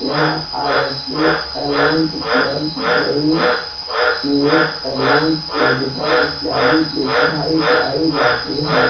यहाँ ISG. Eleventh twelfth JEE. NEET advance medical इत्यादि की पढ़ाई कराई जाती है।